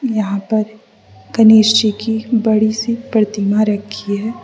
यहां पर गणेश जी की बड़ी सी प्रतिमा रखी है।